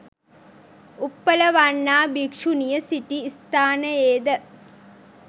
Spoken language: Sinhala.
උප්පලවණ්ණා භික්ෂුණිය සිටි ස්ථානයේද